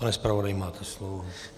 Pane zpravodaji, máte slovo.